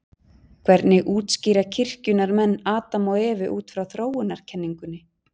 hvernig útskýra kirkjunnar menn adam og evu út frá þróunarkenningunni